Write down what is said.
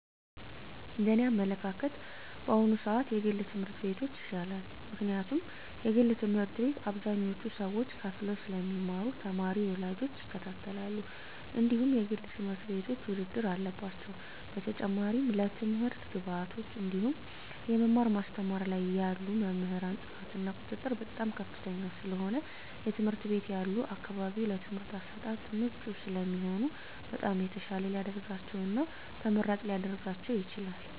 እንደ እኔ አመለካከት በአሁኑ ስዓት የግል ትምህርት ቤቶች ይሻላል ምክንያቱም የግል ትምህርት ቤት አብዛኞቹ ሰዎች ከፈለው ስለሚማሩ ተማሪ ወላጆች ይከታተላሉ እንድሁም የግል ትምህርት ቤቶች ውድድር አለባቸው በተጨማሪም ለትምህርት ግብዓቶች እንድሁም የመማር ማስተማር ላይ ያሉ መምህራን ጥራት እና ቁጥጥር በጣም ከፍተኛ ስለሆነ የትምህርት ቤት ያሉ አካባቢው ለትምህርት አሰጣጥ ምቹ ስለሚሆኑ በጣም የተሻለ ሊደርጋቸው እና ተመራጭ ሊረጋቸው ይችላል።